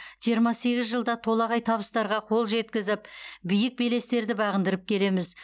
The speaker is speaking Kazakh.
жиырма сегіз жылда толағай табыстарға қол жеткізіп биік белестерді бағындырып келеміз